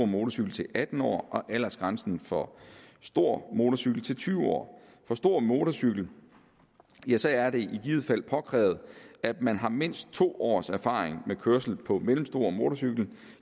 motorcykel til atten år og aldersgrænsen for stor motorcykel til tyve år for stor motorcykel er det i givet fald påkrævet at man har mindst to års erfaring med kørsel på mellemstor motorcykel